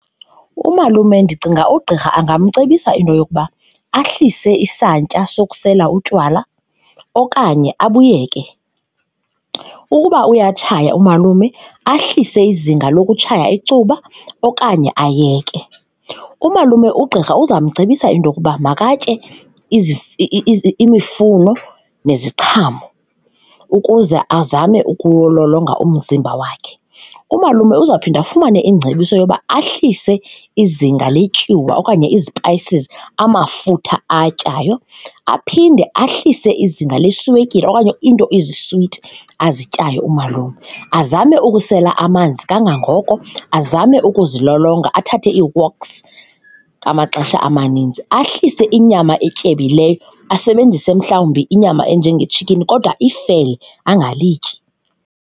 Umalume ndicinga ugqirha angamcebisa into yokuba ahlise isantya sokusela utywala okanye abuyeke. Ukuba uyatshaya umalume ahlise izinga lokutshaya icuba okanye ayeke. Umalume, ugqirha uza kumcebisa intoyokuba makatye imifuno neziqhamo ukuze azame ukulolonga umzimba wakhe. Umalume uzawuphinda afumane ingcebiso yoba ahlise izinga letyiwa okanye izipayisi, amafutha awatyayo. Aphinde ahlise izinga leswekile okanye iinto eziswiti azityayo umalume, azame ukusela amanzi kangangoko, azame ukuzilolonga athathe ii-walks ngamaxesha amaninzi, ahlise inyama etyebileyo asebenzise mhlawumbi inyama enjengetshikhini kodwa ifele angalityi.